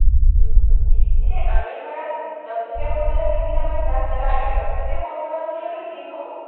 উম এতিয়া আমি ধৰা, দহ টকীয়া বস্তু এটা কিনিলে আমাৰ গাত নালাগে। দহ টকীয়া বস্তু এটা যদি আমি কিনো,